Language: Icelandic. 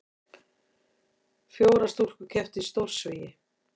Fjórar stúlkur kepptu í stórsvigi